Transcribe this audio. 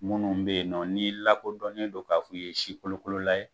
Munnu bɛ yen nɔ n'i lakɔkodɔnnen don k'a fɔ k'i ye sikolokolola ye.